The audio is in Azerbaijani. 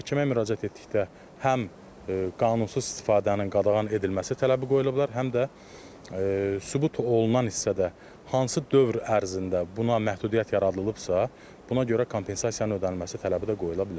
Məhkəməyə müraciət etdikdə həm qanunsuz istifadənin qadağan edilməsi tələbi qoyulublar, həm də sübut olunan hissədə hansı dövr ərzində buna məhdudiyyət yaradılıbsa, buna görə kompensasiyanın ödənilməsi tələbi də qoyula bilər.